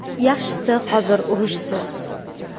Yaxshisi hozir, urushsiz.